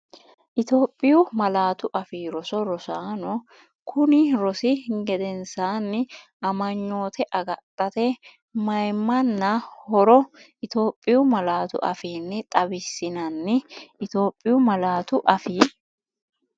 Itophiyu Malaatu Afii Roso Rosaano, knni rosi gedensaanni Amanyoote agadhate mayimmanna horo Itophiyu malaatu afiinni xawissi- nanni Itophiyu Malaatu Afii.